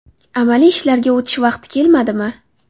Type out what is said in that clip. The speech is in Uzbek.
Amaliy ishlarga o‘tish vaqti kelmadimi?